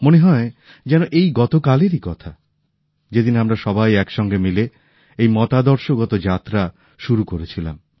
মনে হয় যেন এই গতকালেরই কথা যেদিন আমরা সবাই একসঙ্গে মিলে এই মতাদর্শগত যাত্রা শুরু করেছিলাম